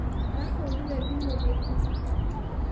Arahũrĩire thimũ maita matatũ.